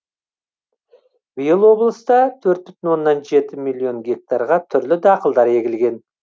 биыл облыста төрт бүтін оннан жеті миллион гектарға түрлі дақылдар егілген